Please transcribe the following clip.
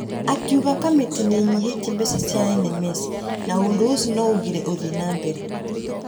Akiuga kamĩtĩ nĩ ĩnyihĩtie mbeca cia NMS na ũndũ ũcio no ũgirie ũthiĩ wa na mbere.